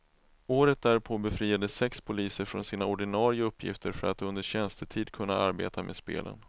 Året därpå befriades sex poliser från sina ordinare uppgifter för att under tjänstetid kunna arbeta med spelen.